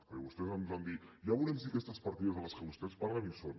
perquè vostès ens van dir ja veurem si aquestes partides de les que vostès parlen hi són